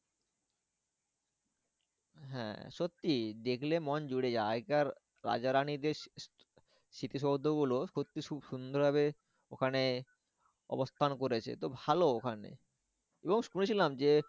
হ্যাঁ সত্যি দেখলে মন জুড়িয়ে যায় আগেকার রাজা রানীদের স্মৃতিসৌধ গুলো সত্যি খুব সুন্দর ভাবে ওখানে অবস্থান করেছে। তো ভালো ওখানে এবং শুনেছিলাম যে